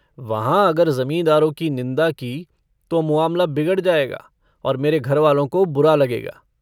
वहाँ अगर ज़मींदारों की निंदा की तो मुआमला बिगड़ जायगा और मेरे घरवालों को बुरा लगेगा।